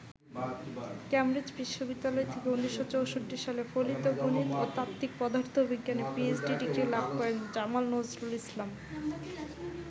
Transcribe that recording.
Cambridge বিশ্ববিদ্যালয় থেকে ১৯৬৪ সালে ফলিত গণিত ও তাত্ত্বিক পদার্থবিজ্ঞানে পিএইচডি ডিগ্রি লাভ করেন জামাল নজরুল ইসলাম।